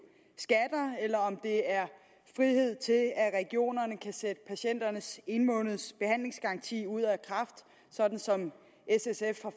skatter eller om det er frihed til at at regionerne kan sætte patienternes en måneds behandlingsgaranti ud af kraft sådan som s